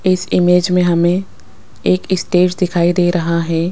इस इमेज में हमें एक स्टेज दिखाई दे रहा है।